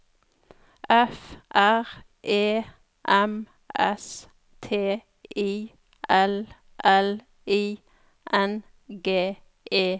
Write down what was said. F R E M S T I L L I N G E N